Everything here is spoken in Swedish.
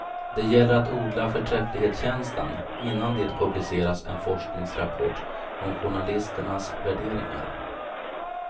Det gäller att odla förträfflighetskänslan innan det publiceras en forskningsrapport om journalisternas värderingar.